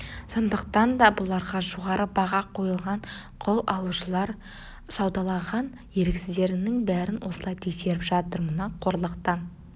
сондықтан да бұларға жоғары баға қойылған құл алушылар саудалаған еріксіздерінің бәрін осылай тексеріп жатыр мына қорлықтан